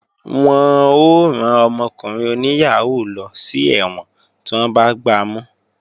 Wọ́n ó rán ọmọkùnrin oníyàhóó lọ sí ẹ̀wọ̀n tí wọ́n bá gbamú